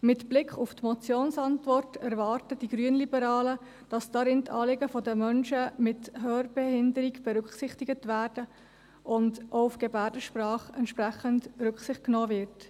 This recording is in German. Mit Blick auf die Motionsantwort erwarten die Grünliberalen, dass darin die Anliegen der Menschen mit Hörbehinderung berücksichtigt werden und auch auf Gebärdensprache entsprechend Rücksicht genommen wird.